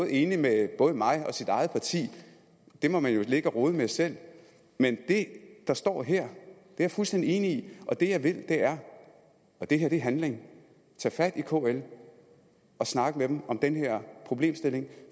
enig med både mig og sit eget parti det må man jo ligge at rode med selv men det der står her er jeg fuldstændig enig i og det jeg vil er og det her er handling at tage fat i kl og snakke med dem om den her problemstilling